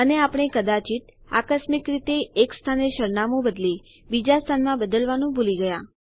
અને આપણે કદાચિત આકસ્મિક રીતે એક સ્થાને સરનામું બદલી બીજા સ્થાનમાં બદલવાનું ભૂલી ગયા